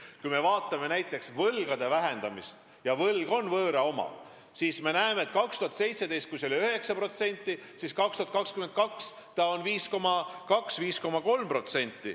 Kui me vaatame näiteks võlgade vähendamist – ja võlg on võõra oma –, siis näeme, et aastal 2017 oli meie võlatase 9%, aga aastal 2022 on see 5,2–5,3%.